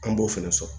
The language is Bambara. An b'o fɛnɛ sɔrɔ